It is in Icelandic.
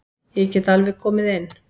Ég get alveg komið inn.